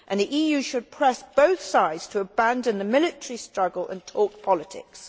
The EU should press both sides to abandon the military struggle and talk politics.